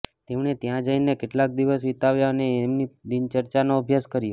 તેમણે ત્યાં જઈને કેટલાંક દિવસ વિતાવ્યા અને તેમની દિનચર્યાનો અભ્યાસ કર્યો